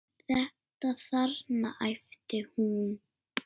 Þetta þarna, æpti hún.